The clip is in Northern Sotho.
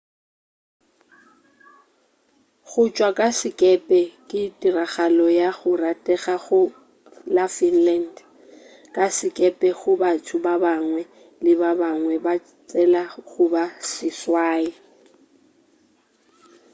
go tšwa ka sekepe ke tiragalo ya go ratega go la finland ka sekepe go batho ba bangwe le bangwe ba tshela goba seswai